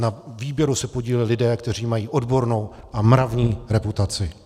Na výběru se podíleli lidé, kteří mají odbornou a mravní reputaci.